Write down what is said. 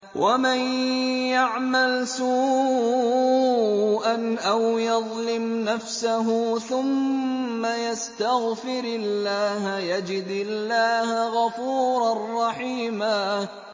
وَمَن يَعْمَلْ سُوءًا أَوْ يَظْلِمْ نَفْسَهُ ثُمَّ يَسْتَغْفِرِ اللَّهَ يَجِدِ اللَّهَ غَفُورًا رَّحِيمًا